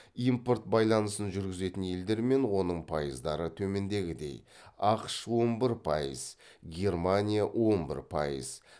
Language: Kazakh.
импорт байланысын жүргізетін елдер мен оның пайыздары төмендегідей ақш он бір пайыз германия он бір пайыз